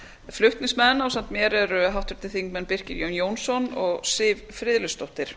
flutningsmenn ásamt mér eru háttvirtir þingmenn birkir jón jónsson og siv friðleifsdóttur